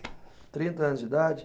trinta anos de idade?